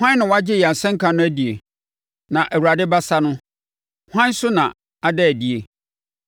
Hwan na wagye yɛn asɛnka no adie, na Awurade abasa no, hwan so na ada adie?